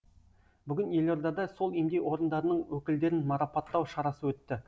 бүгін елордада сол емдеу орындарының өкілдерін марапаттау шарасы өтті